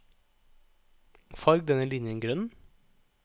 Farg denne linjen grønn